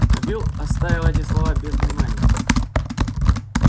но билл оставил эти слова без внимания